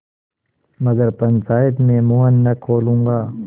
मगर पंचायत में मुँह न खोलूँगा